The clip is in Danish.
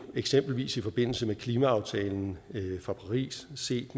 eksempelvis i forbindelse med klimaaftalen fra paris er set